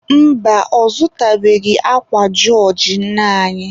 Mba, ọ zụtabeghị akwa jọọjị nne anyị.